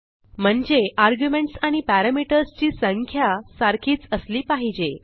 म्हणजे आर्ग्युमेंट्स आणि पॅरामीटर्स ची संख्या सारखीच असली पाहिजे